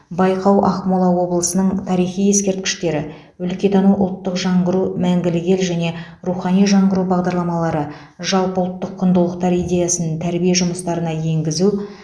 байқау ақмола облысының тарихи ескерткіштері өлкетану ұлттық жаңғыру мәңгілік ел және рухани жаңғыру бағдарламалары жалпыұлттық құндылықтар идеясын тәрбие жұмыстарына енгізу